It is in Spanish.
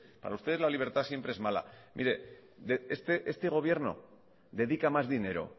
para usted la libertad siempre es mala este gobierno dedica más dinero